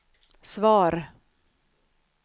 svar